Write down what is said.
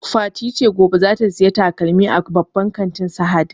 Fati ta ce gobe zata saya takalmi a babban kantin Sahad